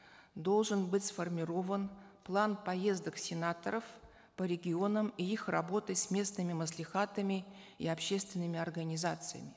должен быть сформирован план поездок сенаторов по регионам и их работы с местными маслихатами и общественными организациями